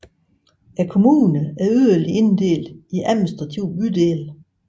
Kommunen er yderligere inddelt i administrative bydele